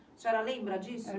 A senhora lembra disso?